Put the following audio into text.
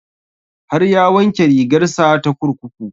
Har ya wanke rigar sa ta kurkuku